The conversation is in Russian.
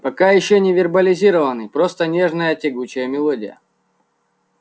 пока ещё не вербализированный просто нежная тягучая мелодия